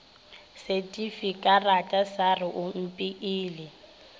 setifikarata sa re o mpeile